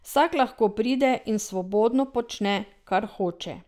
Vsak lahko pride in svobodno počne, kar hoče.